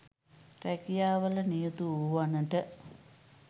රැකියාවල නියුතු වූවනට